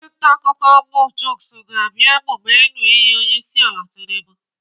Onyeisi ntaakụkọ bụ Chuks ga-abịa emume ịṅụ iyi onyeisiala Tinubu.